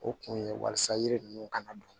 O kun ye walasa yiri ninnu kana don